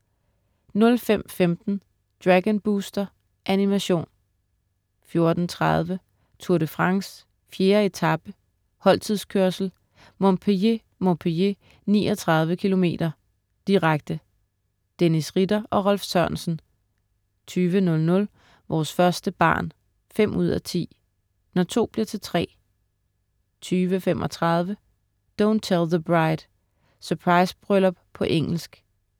05.15 Dragon Booster. Animation 14.30 Tour de France: 4. etape, holdtidskørsel, Montpellier-Montpellier, 39 km. direkte. Dennis Ritter og Rolf Sørensen 20.00 Vores første barn 5:10. Når to bliver til tre 20.35 Don't Tell the Bride. Surprisebryllup på engelsk